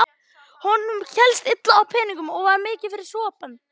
Honum hélst illa á peningum og var mikið fyrir sopann.